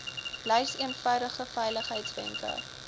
lys eenvoudige veiligheidswenke